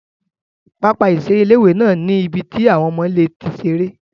Pápá ìseré ilé-ìwé náà ní ibi tí àwọn ọmọ lè ti seré